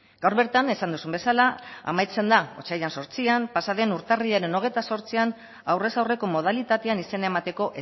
gaur bertan esan duzun bezala amaitzen da otsailaren zortzian pasaden urtarrilaren hogeita zortzian aurrez aurreko modalitatean izena emateko